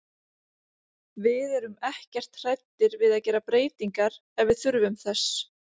Við erum ekkert hræddir við að gera breytingar ef við þurfum þess.